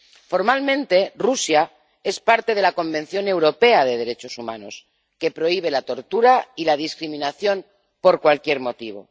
Formalmente, Rusia es parte del Convenio Europeo de Derechos Humanos, que prohíbe la tortura y la discriminación por cualquier motivo.